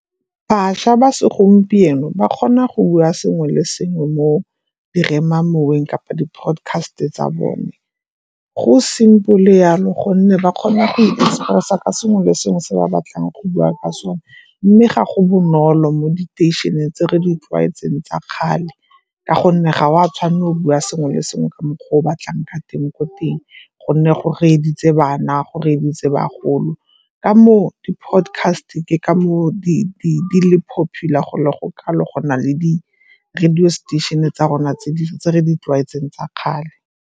Bašwa ba segompieno ba kgona go bua sengwe le sengwe mo diremamoweng kapa di-podcast-e tsa bone. Go simple yalo gonne ba kgona go i-express-a ka sengwe le sengwe se ba batlang go bua ka sone. Mme ga go bonolo mo diteisheneng tse re di tlwaetseng tsa kgale ka gonne ga o a tshwanela robiwa sengwe le sengwe ka mokgwa o o batlang ka teng ko teng gonne go reeditse bana, go reeditse bagolo. Ka moo di-podcast-e ke ka moo di le popular go le go kalo go na le di-radio station-e tsa rona tse re di tlwaetseng tsa kgale.